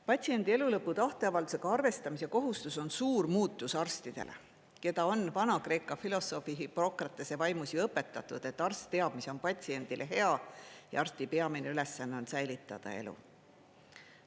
Patsiendi elulõpu tahteavaldusega arvestamise kohustus on suur muutus arstidele, keda on Vana-Kreeka filosoofi Hippokratese vaimus õpetatud: arst teab, mis on patsiendile hea, ja arsti peamine ülesanne on säilitada elu.